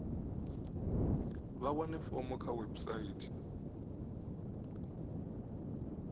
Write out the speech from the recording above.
vha wane fomo kha website